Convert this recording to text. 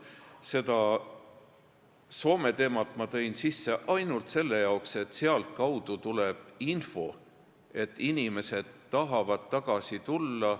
Seda Soome teemat ma tõin sisse ainult seetõttu, et sealtkaudu tuleb info, et inimesed tahavad tagasi tulla.